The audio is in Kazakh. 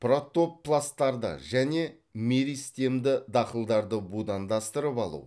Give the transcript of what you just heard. протопласттарды және меристемді дақылдарды будандастырып алу